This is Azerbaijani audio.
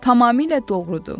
Tamamilə doğrudur.